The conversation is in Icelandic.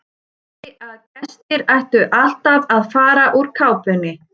Hún sagði að gestir ættu alltaf að fara úr kápunni.